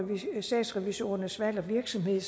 statsrevisorernes valg og virksomhed